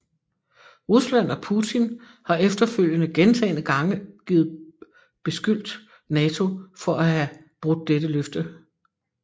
Rusland og Putin har efterfølgende gentagende gange givet beskyldt NATO for at have brudt dette løfte